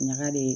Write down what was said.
Ɲaga de